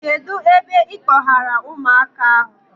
Kedụ ebe ịkpọgara ụmụaka ahụ?